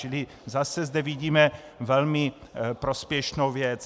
Čili zase zde vidíme velmi prospěšnou věc.